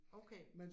Okay